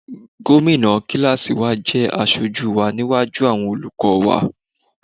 Gómìnà kíláàsì wa jẹ́ aṣojú wa níwájú àwọn olùkọ́ wa.